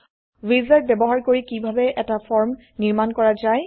wizard ব্যবহাৰ কৰি কিভাবে এটা ফৰ্ম নিৰ্মাণ কৰা যায়